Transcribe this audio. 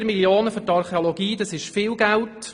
4 Mio. Franken für die Archäologie ist viel Geld.